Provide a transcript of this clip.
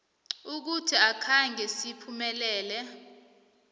ukuthi akhange siphumelele